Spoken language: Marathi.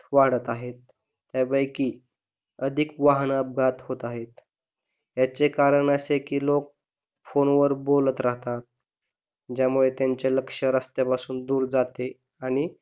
वाढत आहे अधिक वाहन अपघात होत आहे याचे कारण असे की लोक फोन वर बोलत राहतात ज्यामुळे त्यांच लक्ष रस्त्यापासून दूर जाते आणि